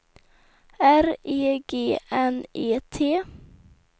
R E G N E T